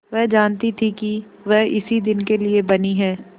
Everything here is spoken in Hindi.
वह जानती थी कि वह इसी दिन के लिए बनी है